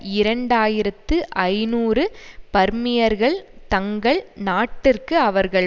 இரண்டு ஆயிரத்து ஐநூறு பர்மியர்கள் தங்கள் நாட்டிற்கு அவர்கள்